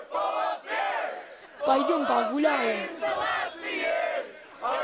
пойдем погуляем